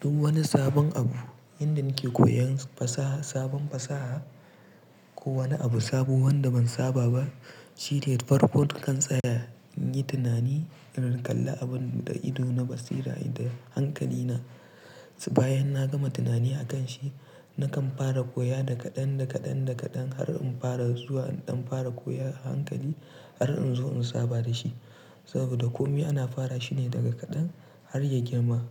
Duk wani sabon abu, inda nake koyan fasaha, sabon fasaha ko wani abu sabo wanda ban saba ba shine farfonton kan tsaya, in yi tunani, in kalla abun da ido na basira da hankali na. Bayan na gama tunani akan shi, na kan fara koya daga ɗan daga ɗan daga ɗan har in fara zuwa in fara koya a hankali har in zo in saba da shi. Saboda kome ana fara shine daga kaɗan har ya girma.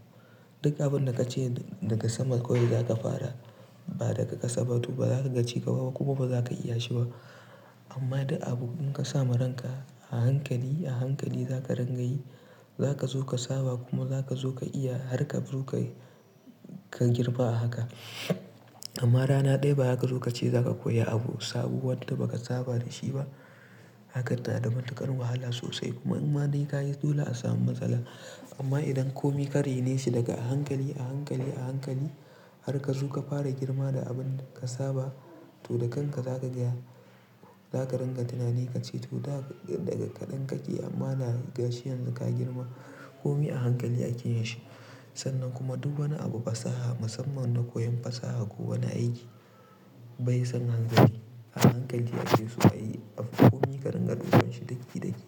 Duk abin da kace daga sama kawai zaka fara, ba daga ƙasa ba to baza ka ci ƙwaƙwa kuma baza ka iya shi ba. Amma da abu in ka sa maranka a hankali, a hankali zaka rangayi, zaka zo ka saba kuma zaka zo ka iya har ka zo ka girma a haka. Amma rana ɗaya ba haka zai zo ka ce zaka koya abu sabo wanda baka saba da shi ba. Hakan na da matuƙar wahala sosai kuma in ma dai kayi dole a samu matsala. Amma idan kome ka rainesi daga a hankali, a hankali, a hankali har ka zo ka fara girma da abin da ka saba to da kanka zaka gaya. Zaka ringa tunani ka ce to daga kaɗan kake amma na ga shi yanzu ka girma. Kome a hankali ake shi. Sannan kuma duk wani abu fasaha musamman na koyon fasaha ko wani aiki bai son hanzari. A hankali ake su, ayi kome ka ringa ɗubanshi daki daki.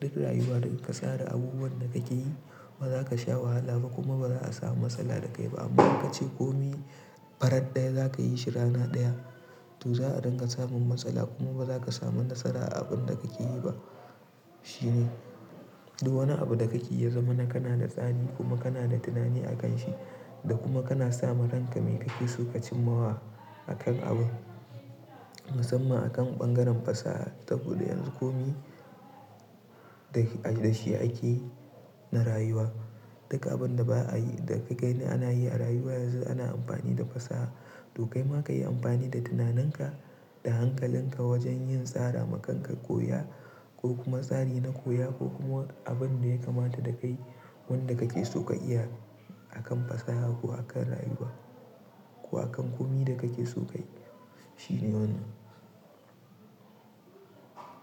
Duk rayuwa daga ka tsara abubuwan da kake yi ba za ka sha wahala ba kuma baza a samu matsala da kai ba. Amma in kace kome farat ɗaya za ka yi shi rana ɗaya to za a ringa samun matsala kuma baza ka samu nasara a abun da kake yi ba. Shine. Duk wani abu da kake yi ya zama na kana da tsani kuma kana da tunani akan shi da kuma kana sa maranka mai kake so ka cimmawa akan abu. Musamman akan bangaren fasaha saboda yanzu kome da shi ake na rayuwa. Duka abun da ba a yi, da kai na ana yi a rayuwa yanzu ana amfani da fasaha. To kaima ka yi amfani da tunaninka, da hankalinka wajen yin tsara ma kanka koya ko kuma tsari na koya ko kuma abun da ya kamata da kai wanda kake so ka iya akan fasaha ko akan rayuwa ko akan kome da kake so ka yi shine wannan.